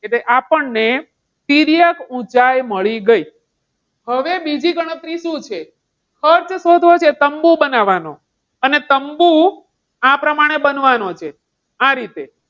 આપણને તિર્યક ઊંચાઈ મળી ગઈ. હવે બીજે ગણતરી શું છે? ખર્ચ શોધવો છે તંબુ બનાવવાનો. અને તંબુ આ પ્રમાણે બનવાનો છે. આ રીતે,